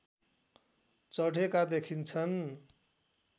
चढेका देखिन्छन्